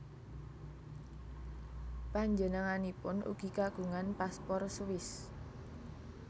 Panjenenganipun ugi kagungan paspor Swiss